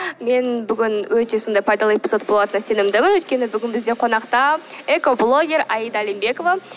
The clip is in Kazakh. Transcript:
мен бүгін өте сондай пайдалы эпизод болатынына сенімдімін өйткені бүгін бізде қонақта экоблогер аида алимбекова